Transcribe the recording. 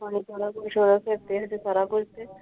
ਸਾਰਾ ਕੁਝ ਸੀ ।